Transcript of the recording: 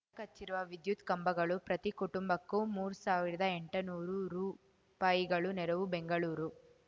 ಕಚ್ಚಿರುವ ವಿದ್ಯುತ್‌ ಕಂಬಗಳು ಪ್ರತಿ ಕುಟುಂಬಕ್ಕೂ ಮೂರು ಸಾವಿರ್ದ ಎಂಟನೂರು ರೂಪಾಯಿ ನೆರವು ಬೆಂಗಳೂರು